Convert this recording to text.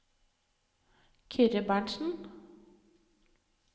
Kyrre Berntzen